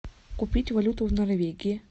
купить валюту в норвегии